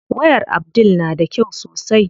Wayar Abdul na da kyau sosai.